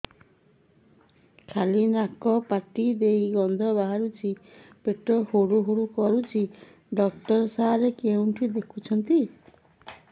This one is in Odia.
ଖାଲି ନାକ ପାଟି ଦେଇ ଗଂଧ ବାହାରୁଛି ପେଟ ହୁଡ଼ୁ ହୁଡ଼ୁ କରୁଛି ଡକ୍ଟର ସାର କେଉଁଠି ଦେଖୁଛନ୍ତ